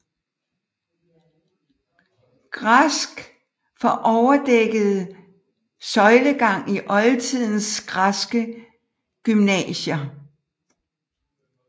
Græsk for overdækket søjlegang i oldtidens græske gymnasier